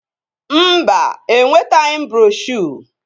Mba, enwetaghị m broshuo